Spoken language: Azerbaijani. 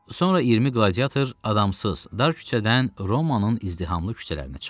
Sonra 20 qladiyator adamsız, dar küçədən Romanın izdihamlı küçələrinə çıxdı.